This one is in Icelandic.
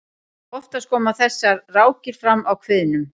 oftast koma þessar rákir fram á kviðnum